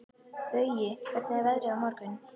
Baui, hvernig er veðrið á morgun?